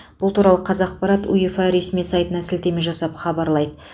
бұл туралы қазақпарат уефа ресми сайтына сілтеме жасап хабарлайды